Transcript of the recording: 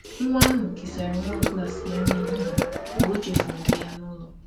Nwa ahụ kesara nwa klas ya nri ehihie mgbe ọ chefuru nke ya n’ụlọ.